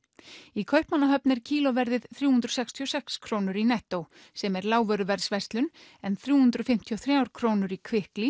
í Kaupmannahöfn er kílóverðið þrjú hundruð sextíu og sex krónur í nettó sem er lágvöruverðsverslun en þrjú hundruð fimmtíu og þrjár krónur í